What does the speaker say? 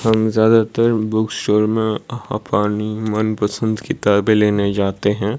हम ज्यादातर book store में अपनी मनपसंद किताबे लेने जाते हैं।